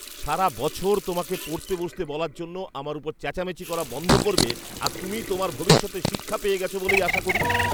সারা বছর তোমাকে পড়তে বসতে বলার জন্য আমার ওপর চেঁচামেচি করা বন্ধ করবে আর তুমি তোমার ভবিষ্যতের শিক্ষা পেয়ে গেছো বলেই আশা করি।